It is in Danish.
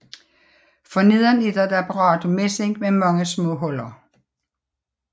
For neden er der et apparat af messing med mange små huller